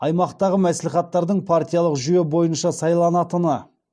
аймақтағы мәслихаттардың партиялық жүйе бойынша сайланатыны